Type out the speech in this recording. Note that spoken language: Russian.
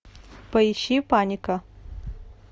поищи паника